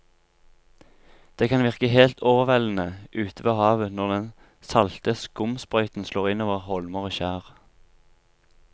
Det kan virke helt overveldende ute ved havet når den salte skumsprøyten slår innover holmer og skjær.